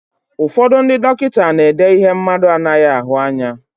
Ụfọdụ ndị dọkịta na-èdé ihe mmadụ anaghị ahụ anya.